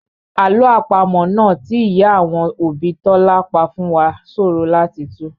Àlọ́ àpamọ́ náà tí ìyá àwọn òbí Tọ́lá pa fún wá ṣòro láti tù